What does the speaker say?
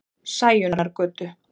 Sæunnargötu